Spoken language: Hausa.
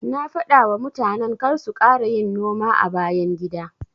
Na dafawa mutanen karsu kara yin noma a bayan gida.